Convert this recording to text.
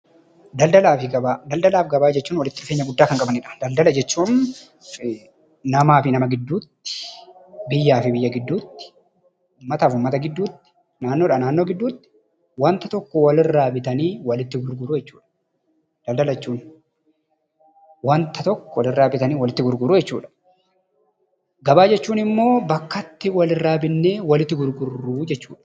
Daldalaa fi gabaa jechuun walitti dhufeenya guddaa kan qabanidha. Daldala jechuun namaa fi nama gidduutti, biyyaa fi biyya gidduutti, uummataa fi uummata gidduutti, naannoodhaa naannoo gidduutti waanta tokko walirraa bitanii walitti gurguruu jechuudha daldala jechuun, waanta tokko walirraa bitanii walitti gurguruu jechuudha. Gabaa jechuun immoo bakka itti walirraa bitnee walitti gurgurru jechuudha.